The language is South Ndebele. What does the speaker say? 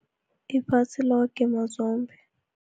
Iphasi loke mazombe.